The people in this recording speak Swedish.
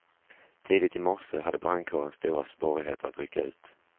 Tidigt i morse hade brandkåren stora svårigheter att rycka ut.